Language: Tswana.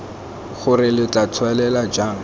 gore lo tla tswelela jang